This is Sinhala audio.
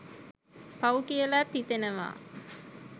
පවු කියලත් හිතෙනව